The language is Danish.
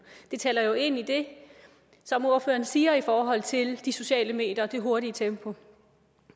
det taler jo ind i det som ordføreren siger i forhold til de sociale medier og det hurtige tempo